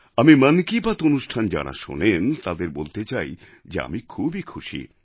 আমি মন কি বাত অনুষ্ঠান যাঁরা শোনেন তাদের বলতে চাই যে আমি খুবই খুশি